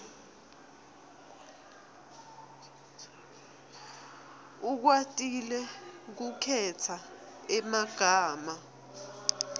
ukwatile kukhetsa emagama